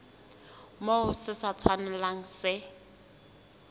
moo se sa tshwanelang se